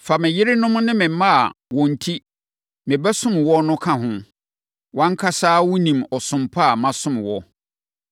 Fa me yerenom ne me mma a wɔn enti mebɛsom wo no ka ho. Wʼankasa ara wonim ɔsom pa a masom wo.”